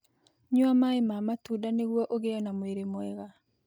Nyua maĩ ma matunda nĩguo ũgĩe na mwĩrĩ mwega.